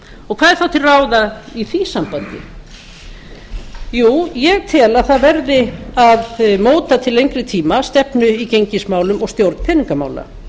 og hvað er þá til ráða í því sambandi jú ég tel að það verði að móta til lengri tíma stefnu í gengismálum og stjórn peningamála